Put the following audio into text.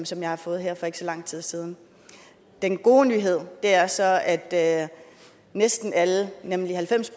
som jeg har fået her for ikke så lang tid siden den gode nyhed er så at at næsten alle nemlig halvfems